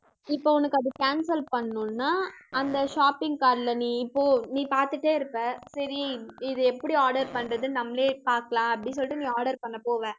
இப்ப உனக்கு அது cancel பண்ணனும்னா, அந்த shopping card ல நீ இப்போ நீ பாத்துட்டே இருப்ப சரி இதை எப்படி order பண்றதுன்னு, நம்மளே பாக்கலாம் அப்படின்னு சொல்லிட்டு நீ order பண்ண போவ